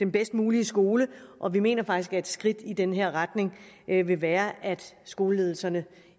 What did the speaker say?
bedst mulige skole og vi mener faktisk at et skridt i den retning vil være at skoleledelserne